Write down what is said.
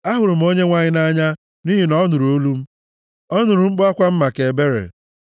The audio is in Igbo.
Ahụrụ m Onyenwe anyị nʼanya, nʼihi na ọ nụrụ olu m; ọ nụrụ mkpu akwa m maka ebere.